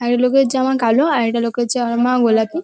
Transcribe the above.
আর এই লোকের জামা কালো আর একটা লোকের জামা গোলাপি ।